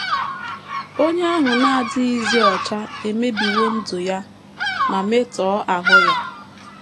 Onye ahụ na - adịghịzi ọcha emebiwo ndụ ya ma metọọ aha ya.